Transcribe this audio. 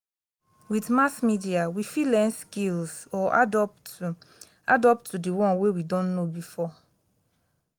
with mass media we fit learn skills or add up to add up to di one wey we don know before